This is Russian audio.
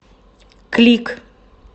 клик